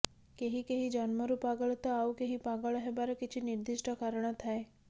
କେହି କେହି ଜନ୍ମରୁ ପାଗଳ ତ ଆଉ କେହି ପାଗଳ ହେବାର କିଛି ନିର୍ଦ୍ଦିଷ୍ଟ କାରଣ ଥାଏ